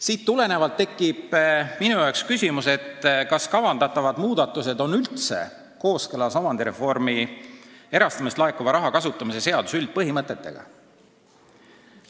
Siit tulenevalt on mul tekkinud küsimus, kas kavandatavad muudatused on üldse kooskõlas erastamisest laekuva raha kasutamise seaduse üldpõhimõtetega.